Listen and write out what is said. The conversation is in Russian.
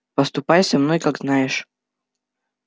поступай со мной как знаешь